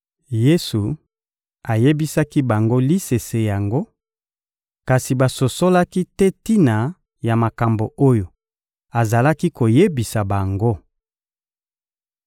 Yesu ayebisaki bango lisese yango, kasi basosolaki te tina ya makambo oyo azalaki koyebisa bango.